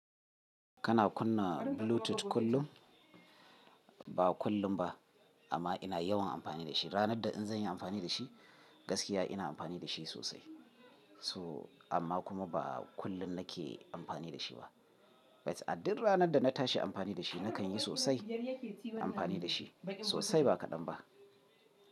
Kana kunna Bluetooth kullum? Ba kullum ba amma ina yawan amfani da shi. Ranar da in zanyi amfani da shi gaskiya ina amfani da shi sosai. So amma kuma ba kullum nake amfani da shi ba. But a duk ranar da na tashi amfani da shi nakan yi sosai amfani da shi sosai ba kadan ba.